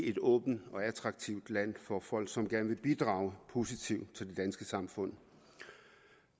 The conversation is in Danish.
et åbent og attraktivt land for folk som gerne vil bidrage positivt til det danske samfund